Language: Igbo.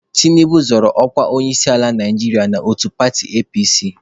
Tinubu zọrọ ọkwa onyeisiala Naijiria n'otu paatị APC.